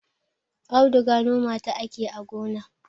auduga noma ta ake yi a gonna